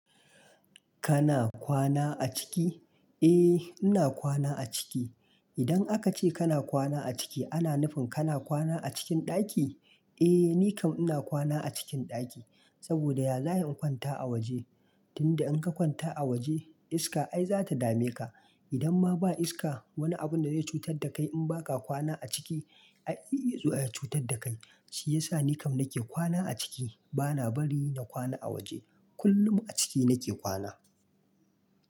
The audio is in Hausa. Kana kwana a ciki? Eh ina kwana a ciki. Idan aka ce kana kwana a ciki ana nufin kana kwana a cikin ɗaki? Eh, ni kam ina kwana a cikin ɗaki, saboda ya za'ai in kwanta a waje? Tunda in ka kwanta a waje iska ai za ta dame ka. Idan ma ba iska wani abun da zai cutar da kai in ba ka kwana a ciki ai zai iya zuwa ya cutar da kai. Shi yasa ni kam nake kwana a ciki. Bana bari na kwana a waje. Kullum a ciki nake kwana.